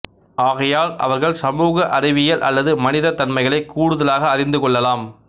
ஆகையால் அவர்கள் சமூக அறிவியல் அல்லது மனிதத்தன்மைகளை கூடுதலாக அறிந்து கொள்ளலாம்